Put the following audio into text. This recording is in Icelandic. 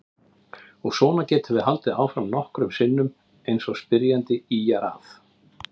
Og svona getum við haldið áfram nokkrum sinnum eins og spyrjandi ýjar að.